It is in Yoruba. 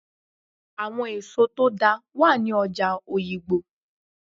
Àwọn èso tó dáa wà ní ọjà Oyigbo